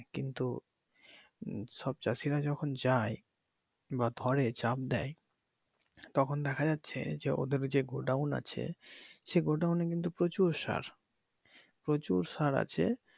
কিন্তু সব চাষিরা যখন যায় বা ধরে চাপ দেয় তখন দেখা যাচ্ছে যে ওদের ঐযে গোডাউন আছে সে গোডাউনে কিন্তু প্রচুর সার প্রচুর সার আছে কিন্তু